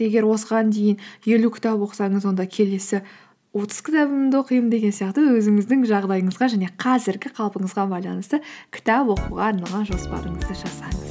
егер осыған дейін елу кітап оқысаңыз онда келесі отыз кітабымды оқимын деген сияқты өзіңіздің жағдайыңызға және қазіргі қалпыңызға байланысты кітап оқуға арналған жоспарыңызды жасаңыз